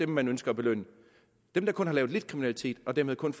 man ønsker at belønne dem der kun har lavet lidt kriminalitet og dermed kun